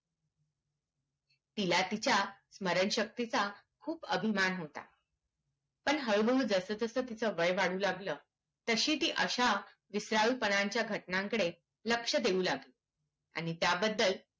तिला तिच्या स्मरण शक्तीचा खूप अभिमान होता पण हळू हळू जसा जसा तिचा वय वाढू लागलं तशी ती अश्या विसराळु पानाच्या घटणकडे लक्ष देऊ लागली आणि त्याबद्दल